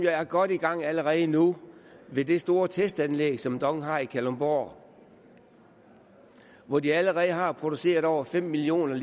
er jo godt i gang allerede nu ved det store testanlæg som dong har i kalundborg hvor de allerede har produceret over fem million